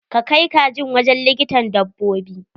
Ka kai kajin wujin likitan dabbobi!